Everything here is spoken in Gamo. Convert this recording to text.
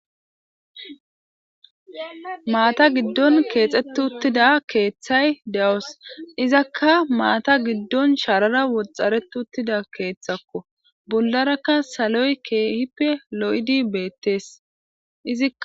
Maata giddon keexxet uttida keeththay de,os izakka maata giddon sharara woxxareti uttida keeththakko bollarakka saloy keehippe lo,idi beettees izia